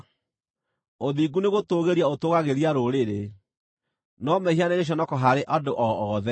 Ũthingu nĩgũtũũgĩria ũtũũgagĩria rũrĩrĩ, no mehia nĩ gĩconoko harĩ andũ o othe.